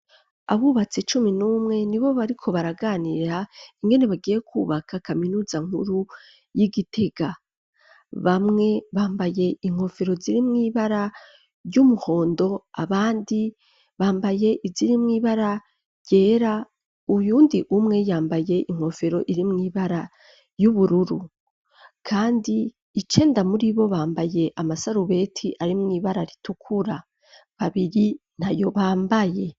abubatsi cumi n'umwe ni bo bariko baraganira ingene bagiye kubaka kaminuza nkuru y'igitega, bamwe bambaye inkofero ziri mw'ibara ry'umuhondo abandi bambaye iziri mwibara ryera uyu ndi umwe yambaye inkofero irimwo ibara ry'ubururu, kandi icenda muri bo bambaye amasarubeti ari mw'ibara ritukura, babiri ntayo bambaye.